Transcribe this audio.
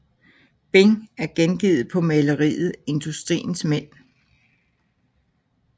Bing er gengivet på maleriet Industriens Mænd